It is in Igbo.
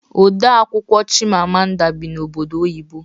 Ode akwụkwọ Chimamanda bi n'obodo oyibo